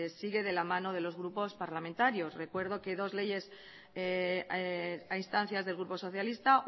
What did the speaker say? sigue de la mano de los grupos parlamentarios recuerdo que dos leyes a instancias del grupo socialista